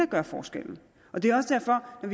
gør forskellen og det er også derfor at